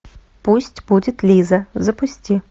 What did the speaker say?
пусть будет лиза запусти